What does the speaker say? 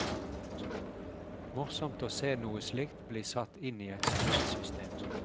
Morsomt å se noe slikt bli satt inn i et spillsystem.